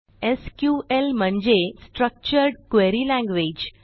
SQL म्हणजे structured query language